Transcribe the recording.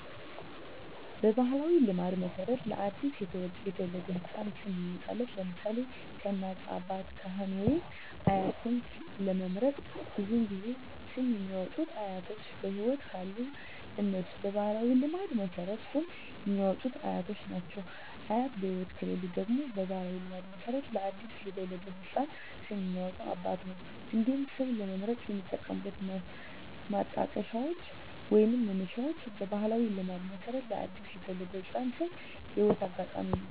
በባሕላዊ ልማድ መሠረት ለ አዲስ የተወለደ ሕፃን ስም የሚያወጣዉ (ለምሳሌ: ከእናት፣ አባት፣ ካህን ወይም አያት) ስም ለመምረጥ ብዙውን ጊዜ ስም የሚያወጡት አያቶች በህይወት ካሉ እነሱ በባህላዊ ልማድ መሠረት ስም የሚያወጡት አያቶች ናቸው። አያት በህይወት ከሌሉ ደግሞ በባህላዊ ልማድ መሠረት ለአዲስ የተወለደ ህፃን ስም የሚያወጣው አባት ነው። እንዲሁም ስም ለመምረጥ የሚጠቀሙት ማጣቀሻዎች ወይንም መነሻዎች በባህላዊ ልማድ መሠረት ለአዲስ የተወለደ ህፃን ስም የህይወት አጋጣሚ ነው።